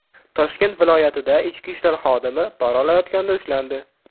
Toshkent viloyatida ichki ishlar xodimi pora olayotganda ushlandi.